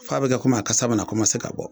F'a bi kɛ komi a kasa bi na komase ka bɔ